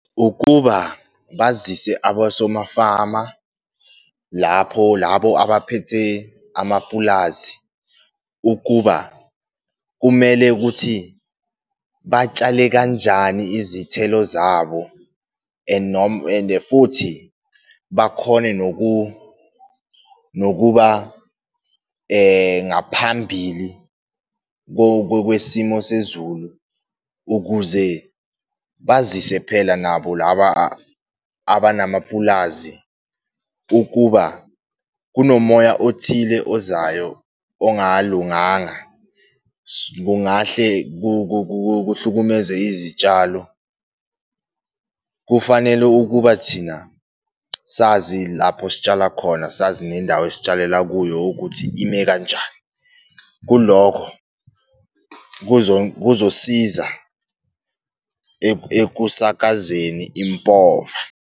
Ukuba bazise abosomafama lapho labo abaphethe amapulazi ukuba kumele ukuthi batshale kanjani izithelo zabo, and noma and-e futhi bakhone nokuba ngaphambili kwesimo sezulu, ukuze bazise phela nabo laba abanamapulazi ukuba kunomoya othile ozayo ongalunganga, kungahle kuhlukumeze izitshalo. Kufanele ukuba thina sazi lapho sitshala khona, sazi nendawo esitshalela kuyo ukuthi ime kanjani, kulokho kuzosiza ekusakazeni impova.